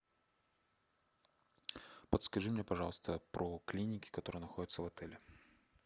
подскажи мне пожалуйста про клиники которые находятся в отеле